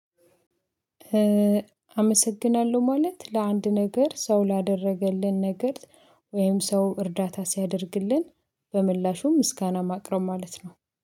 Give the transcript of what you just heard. አመሰግናለሁ ማለት ለአንድ ነገር ሰው ላደረገልን ነገር ወይም ሰው እርዳታ ሲያደርግልን በምላሹ ምስጋና ማቅረብ ማለት ነው